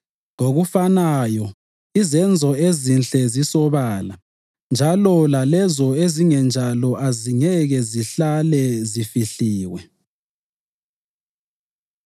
Ngokufanayo, izenzo ezinhle zisobala njalo lalezo ezingenjalo azingeke zihlale zifihliwe.